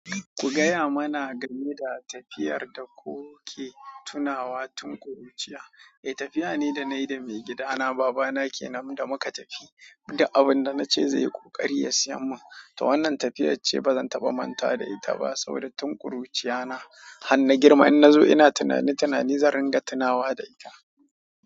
Ku gaya mana game da tafiyar da kuke tunawa tun kuruciya. Eh, tafiya ne da na yi da maigidana baba na ke nan da muka tafi, duk abin da na ce zai yi ƙoƙari ya siya mun, to wannan tafiyar ce ba zan taɓa manta da ita ba saboda tun ƙuruciya na har na girma in na zo ina tunane-tunanin zan ringa tunawa da ita.